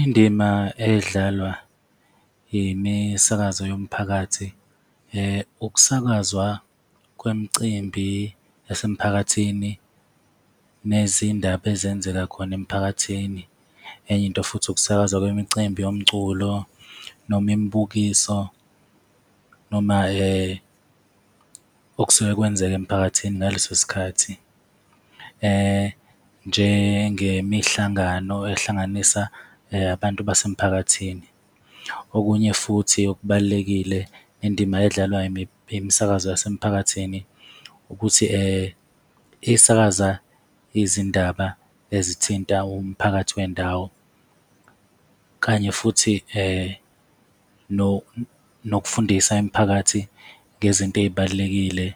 Indima edlalwa imisakazo yomphakathi, ukusakazwa kwemcimbi yasemphakathini nezindaba ezenzeka khona emphakathini. Enye into futhi ukusakazwa kwemicimbi yomculo noma imibukiso noma okusuke kwenzeka emphakathini ngaleso sikhathi, njengemihlangano ehlanganisa abantu basemphakathini. Okunye futhi okubalulekile, indima edlalwa imisakazo yasemphakathini ukuthi isakaza izindaba ezithinta umphakathi wendawo, kanye futhi nokufundisa imiphakathi ngezinto ezibalulekile